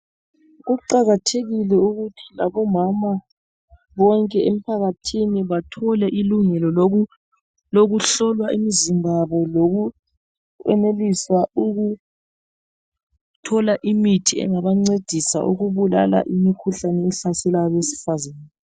Kuqakathekile ukuthi labo mama bonke emphakathini bathole ilungelo lokuhlolwa imizimba yabo lokuyenelisa ukuthola imithi engabancedisa ukubulala imikhuhlane ehlasela abesifazane